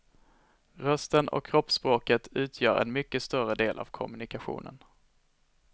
Rösten och kroppsspråket utgör en mycket större del av kommunikationen.